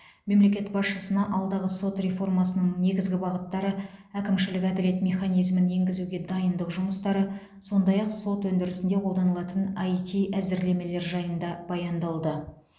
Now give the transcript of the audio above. мемлекет басшысына алдағы сот реформасының негізгі бағыттары әкімшілік әділет механизмін енгізуге дайындық жұмыстары сондай ақ сот өндірісінде қолданылатын іт әзірлемелер жайында баяндалды